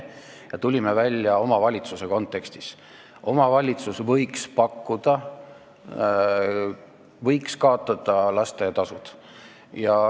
Me tulime sellega välja omavalitsuse kontekstis: omavalitsus võiks kaotada lasteaiatasud.